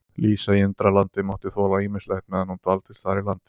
Lísa í Undralandi mátti þola ýmislegt meðan hún dvaldist þar í landi.